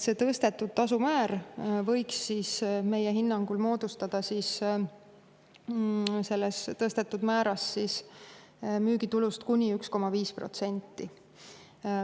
See tasu tõstetud määras võiks meie hinnangul moodustada müügitulust kuni 1,5%.